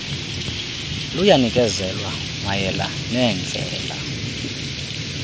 luyanikezelwa mayela neendlela